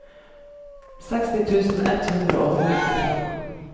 seksti tusen ett hundre og nittifem